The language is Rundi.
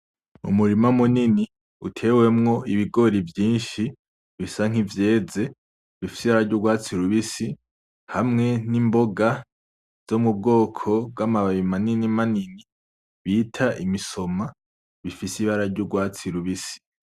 Umurima munini utewemwo ibigori vyinshi bisa nk'ivyeze, bifise ibara ry'ugwatsi rubisi; hamwe n'imboga zo mu bwoko bw'amababi manini manini bita imisoma bifise ibara ry'ugwatsi rubisi.